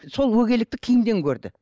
сол өгейлікті киімнен көрді